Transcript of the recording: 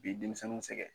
Bi denmisɛnninw sɛgɛn